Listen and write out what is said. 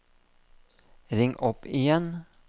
ring opp igjen